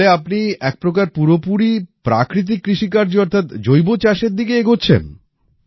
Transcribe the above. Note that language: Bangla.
তাহলে আপনি একপ্রকার পুরোপুরি প্রাকৃতিক কৃষিকার্য অর্থাৎ জৈব চাষের দিকে এগোচ্ছেন